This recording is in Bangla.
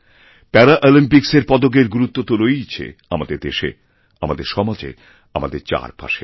প্যারাঅলিম্পিক্সের পদকের গুরুত্ব তো রয়েইছে আমাদেরদেশে আমাদের সমাজে আমাদের চারপাশে